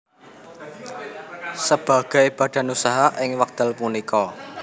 Sebagai Badan Usaha ing wekdal punika